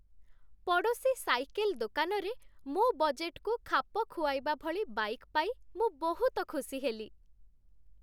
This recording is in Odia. ପଡ଼ୋଶୀ ସାଇକେଲ୍ ଦୋକାନରେ ମୋ ବଜେଟ୍‌କୁ ଖାପ ଖୁଆଇବା ଭଳି ବାଇକ୍ ପାଇ ମୁଁ ବହୁତ ଖୁସି ହେଲି।